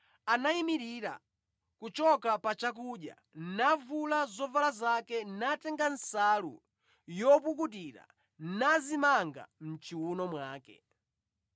anayimirira kuchoka pa chakudya navula zovala zake natenga nsalu yopukutira nadzimanga mʼchiwuno mwake.